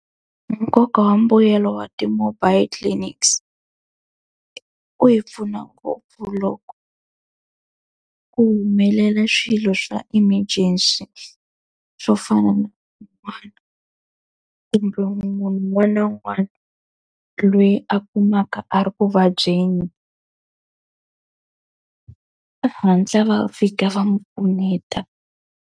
Nkoka wa mbuyelo wa ti-mobile clinics wu hi pfuna ngopfu loko ku humelela swilo swa emergency swo fana na kumbe munhu un'wana na un'wana loyi a kumaka a ri ku vabyeni va hatla va fika va n'wi pfuneta.